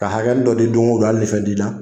Ka hakɛni dɔ di don o don hali ni fɛn t'i la